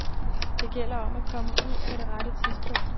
Det gælder om at komme ud på det rette tidspunkt.